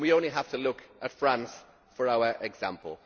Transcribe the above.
We only have to look at France for our example.